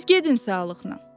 Siz gedin sağlıqnan.